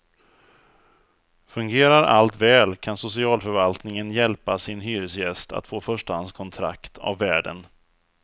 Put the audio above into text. Fungerar allt väl kan socialförvaltningen hjälpa sin hyresgäst att få förstahandskontrakt av värden.